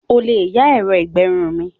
O lè yá ẹ̀rọ ìgbẹrun mi.